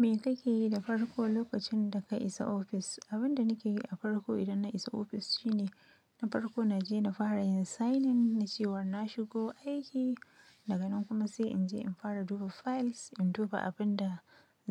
Me kake yi da farko lokacin da ka isa ofis? Abin da nake yi a farko idan na isa ofis shine, na farko na je na fara in signing na cewar na shigo aiki, daga nan kuma sai in je in fara duba files, in duba abin da